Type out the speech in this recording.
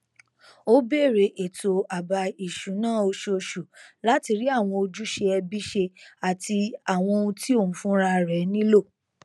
ó bẹrẹ ètò àbá ìṣúná oṣooṣù láti rí àwọn ojúṣe ẹbí ṣe àti àwọn tí òun fúnra rẹ nílò